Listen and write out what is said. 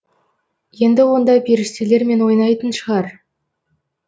енді онда періштелермен ойнайтын шығар